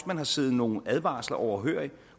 man har siddet nogle advarsler overhørig